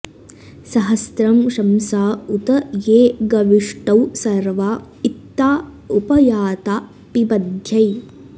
स॒हस्रं॒ शंसा॑ उ॒त ये गवि॑ष्टौ॒ सर्वा॒ँ इत्ताँ उप॑ याता॒ पिब॑ध्यै